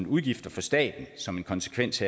udgifter for staten som en konsekvens